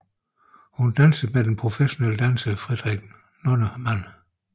Hun dansede med den professionelle danser Frederik Nonnemann